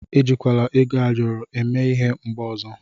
E jikwala ego ayọrọ eme ịhe mgbe ọzọ.